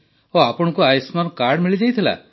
ତ ଆପଣଙ୍କୁ ଆୟୁଷ୍ମାନ କାର୍ଡ ମିଳିଯାଇଥିଲା